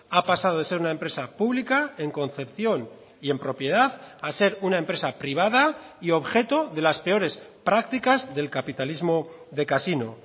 ha pasado de ser una empresa pública en concepción y en propiedad a ser una empresa privada y objeto de las peores prácticas del capitalismo de casino